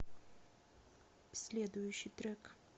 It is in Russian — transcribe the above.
следующий трек